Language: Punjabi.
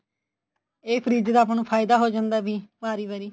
ਇਹ ਫਰਿਜ਼ ਦਾ ਆਪਾਂ ਨੂੰ ਫਾਇਦਾ ਹੋ ਜਾਂਦਾ ਐ ਵੀ ਵਾਰੀ ਵਾਰੀ